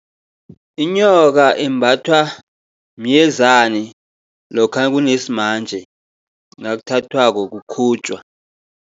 Inyoka imbathwa myezani lokha nakunesimanje, nakuthathwako kukhutjwa.